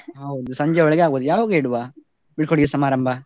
ಹೌದು ಸಂಜೆವರೆಗೆ ಆಗ್ಬಹುದು, ಯಾವಾಗ ಇಡುವ ಬೀಳ್ಕೊಡುಗೆ ಸಮಾರಂಭ?